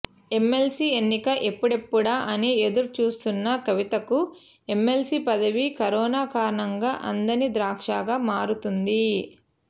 MLC ఎన్నిక ఎప్పుడెప్పుడా అని ఎదురుచూస్తున్న కవితకు ఎమ్మెల్సీ పదవి కరోనా కారణంగా అందని ద్రాక్షగా మారుతోంది